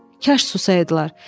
Kaş susaydılar.